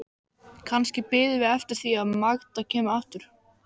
Kannski biðum við eftir því að Magda kæmi aftur.